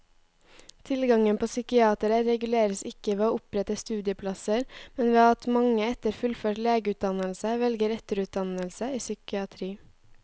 Tilgangen på psykiatere reguleres ikke ved å opprette studieplasser, men ved at mange etter fullført legeutdannelse velger etterutdannelse i psykiatri.